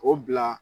O bila